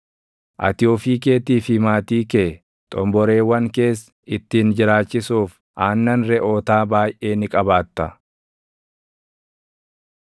Ati ofii keetii fi maatii kee, // xomboreewwan kees ittiin jiraachisuuf aannan reʼootaa baayʼee ni qabaatta.